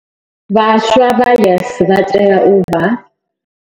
Vhaswa vha YES vha tea u vha.